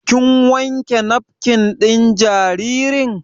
Kin wanke nafkin ɗin jaririn?